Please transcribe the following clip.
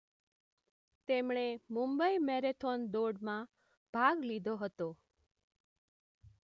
તેમણે મુંબઈ મેરેથોન દોડમાં ભાગ લીધો હતો